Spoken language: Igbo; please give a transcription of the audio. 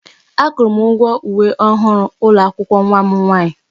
Akwụrụ m ụgwọ uwe ọhụrụ ụlọ akwụkwọ nwa m nwaanyị.